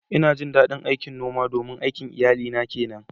Ina jin ɗaɗin noma domin aikin iyalina ke nan.